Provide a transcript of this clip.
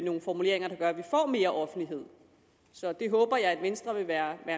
nogle formuleringer der gør at vi får mere offentlighed så det håber jeg at venstre vil være